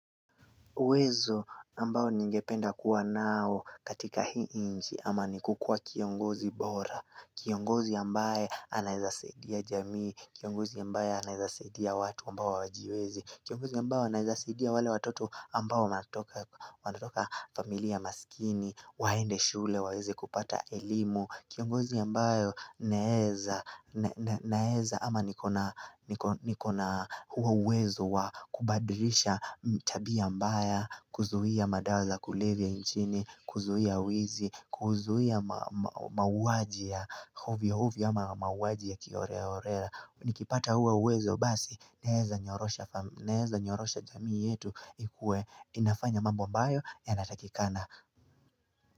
Uwezo ambao ningependa kuwa nao katika hii nchi ama ni kukua kiongozi bora, kiongozi ambaye anaweza saidia jamii, kiongozi ambaye anaweza saidia watu ambao hawajiwezi, kiongozi ambaye anaweza saidia wale watoto ambao wanatoka familia masikini, waende shule, waweze kupata elimu, kiongozi ambaye anaeza ama nikona huo uwezo wa kubadilisha tabia mbaya. Kuzuia madawa za kulevya nchini, kuzuia wizi, kuzuia mauaji ya ovyo ovyo ama mauaji ya kiholela holela. Nikipata huo uwezo basi naeza nyorosha jamii yetu ikue inafanya mambo mbayo yanatakikana.